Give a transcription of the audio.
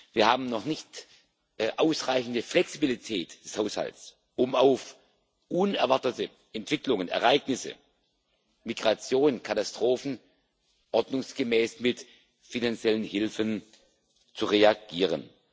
Wir haben noch keine ausreichende Flexibilität des Haushalts, um auf unerwartete Entwicklungen, Ereignisse Migration, Katastrophen ordnungsgemäß mit finanziellen Hilfen zu reagieren.